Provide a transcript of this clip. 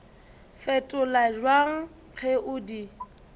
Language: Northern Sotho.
fetola bjang ge o di